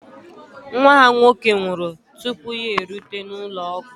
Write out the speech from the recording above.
Nwa ha nwoke nwụrụ tupu ya erute n'ụlọ ọgwụ